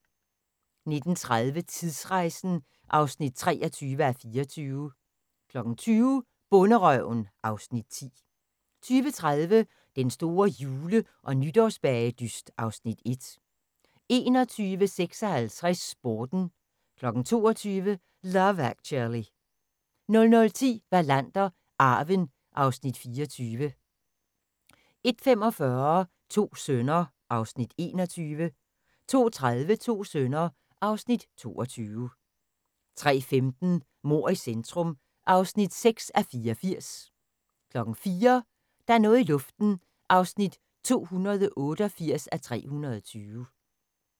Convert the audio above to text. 19:30: Tidsrejsen (23:24) 20:00: Bonderøven (Afs. 10) 20:30: Den store jule- og nytårsbagedyst (Afs. 1) 21:56: Sporten 22:00: Love Actually 00:10: Wallander: Arven (Afs. 24) 01:45: To sønner (Afs. 21) 02:30: To sønner (Afs. 22) 03:15: Mord i centrum (6:84) 04:00: Der er noget i luften (288:320)